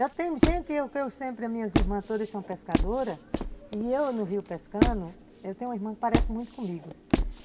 Eu sempre, minhas irmãs todas são pescadoras, e eu no rio pescando, eu tenho uma irmã que parece muito comigo.